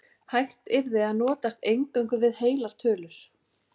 Hægt yrði að notast eingöngu við heilar tölur.